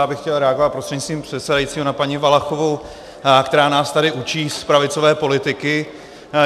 Já bych chtěl reagovat prostřednictvím předsedajícího na paní Valachovou, která nás tady učí z pravicové politiky.